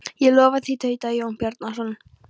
Ég lofa því, tautaði Jón Bjarnason.